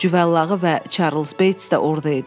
Cüvəllığı və Çarlz Beyts də orada idi.